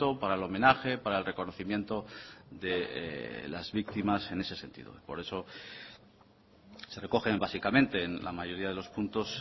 para el homenaje para el reconocimiento de las víctimas en ese sentido por eso se recogen básicamente en la mayoría de los puntos